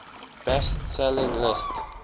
best selling list